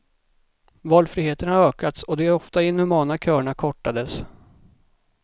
Valfriheten har ökats och de ofta inhumana köerna kortades.